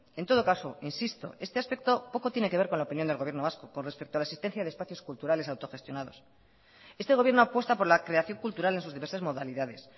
en todo caso insisto este aspecto poco tiene que ver con la opinión del gobierno vasco con respecto a la existencia de espacios culturales autogestionados este gobierno apuesta por la creación cultural en sus diversas modalidades